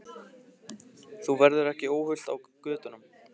Þú verður ekki óhult á götunum.